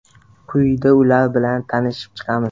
Quyida ular bilan tanishib chiqamiz.